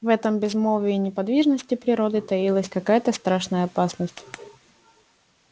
в этом безмолвии и неподвижности природы таилась какая то страшная опасность